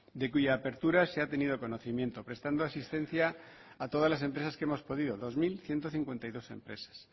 de cuya apertura se ha tenido conocimiento prestando asistencia a todas las empresas que hemos podido dos mil ciento cincuenta y dos empresas